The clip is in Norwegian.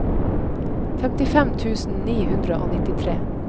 femtifem tusen ni hundre og nittitre